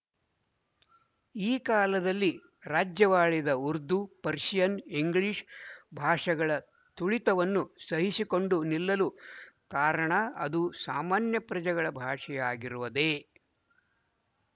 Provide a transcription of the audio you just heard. ಈ ಕಾಲದಲ್ಲಿ ರಾಜ್ಯವಾಳಿದ ಉರ್ದು ಪರ್ಶಿಯನ್ ಇಂಗ್ಲಿಶ ಭಾಷೆಗಳ ತುಳಿತವನ್ನು ಸಹಿಸಿಕೊಂಡು ನಿಲ್ಲಲು ಕಾರಣ ಅದು ಸಾಮಾನ್ಯ ಪ್ರಜೆಗಳ ಭಾಷೆಯಾಗಿರುವುದೇ